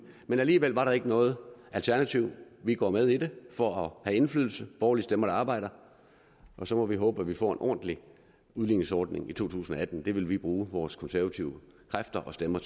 men alligevel var der ikke noget alternativ vi går med i det for at have indflydelse borgerlige stemmer der arbejder og så må vi håbe at vi får en ordentlig udligningsordning i to tusind og atten det håb vil vi bruge vores konservative kræfter og stemmer